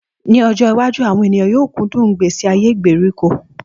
Ní ọjọ́ iwájú, àwọn ènìyàn yóò kú dùn ìgbésí ayé ìgbèsíko